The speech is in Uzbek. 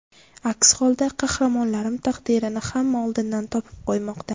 Aks holda qahramonlarim taqdirini hamma oldindan topib qo‘ymoqda.